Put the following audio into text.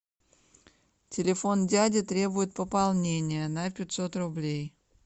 телефон дяди требует пополнения на пятьсот рублей